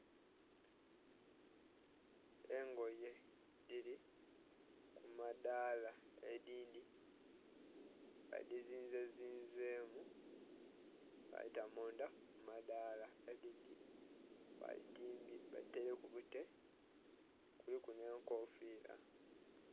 Engoye dhili ku madhala edindhi ba dizinze zinzemu badhita mundha mumadhala edindhi ba dhi taileku bute kuliku nhe enkofira.